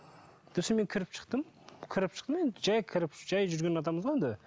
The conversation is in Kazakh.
мен кіріп шықтым кіріп шықтым енді жай кіріп жай жүрген адамбыз ғой енді